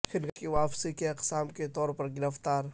function کی واپسی کی اقسام کے طور پر گرفتار